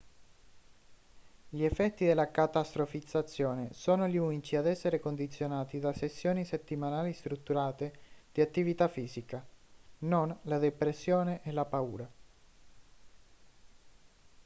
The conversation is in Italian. gli effetti della catastrofizzazione sono gli unici ad essere condizionati da sessioni settimanali strutturate di attività fisica non la depressione e la paura